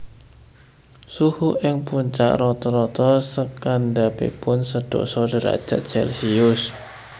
Suhu ing puncak rata rata sakandhapipun sedasa derajat celcius